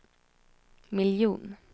miljon